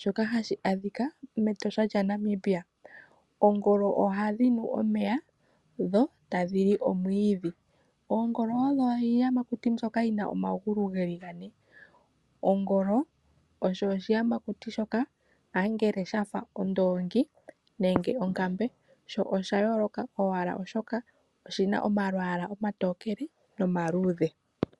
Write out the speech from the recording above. shoka hashi adhika mEtosha lyaNamibia. Oongolo ohadhi nu omeya dho tadhi li omwiidhi. Oongolo odho iiyamakuti mbyoka yi na omagulu ge li gane. Ongolo osho oshiyamakuti shoka ambala sha fa ondoongi nenge onakmbe. Sho osha yooloka owala, oshoka oshi na omalwaala omatokele nomaluudhe.